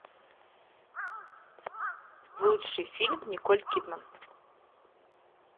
лучший фильм николь кидман